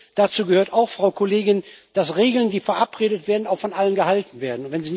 Übrigens gehört dazu auch, Frau Kollegin, dass Regeln, die verabredet werden, von allen eingehalten werden.